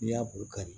N'i y'a bɔn ka